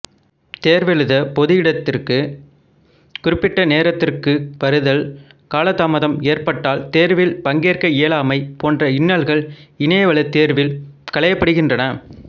தேர்வெழுத பொது இடத்திற்குக் குறிப்பிட்ட நேரத்திற்கு வருதல் காலதாமதம் ஏற்பட்டால் தேர்வில் பங்கேற்க இயலாமை போன்ற இன்னல்கள் இணையவழித்தேர்வில் களையப்படுகின்றன